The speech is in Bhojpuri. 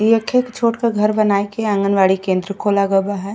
इ एक ठे एक छोट क घर बनाई के आँगनबाड़ी केंद्र खोला ग बा है।